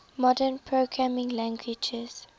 modern programming languages